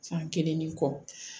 San kelen ni kɔ